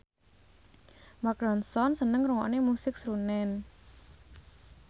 Mark Ronson seneng ngrungokne musik srunen